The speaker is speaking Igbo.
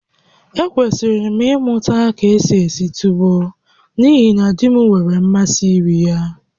Ekwesịrị m ịmụta ka esi esi tuwo n'ihi na di m nwere mmasị iri ya